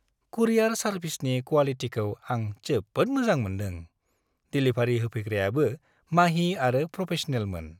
कुरियार सारभिसनि क्वालिटिखौ आं जोबोद मोजां मोनदों। डिलिभारि होफैग्रायाबो माहि आरो प्रफेस'नेलमोन।